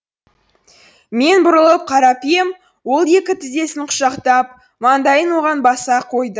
мен бұрылып қарап ем ол екі тізесін құшақтап маңдайын оған баса қойды